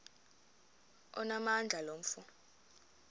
onamandla lo mfo